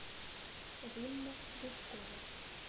римма душкова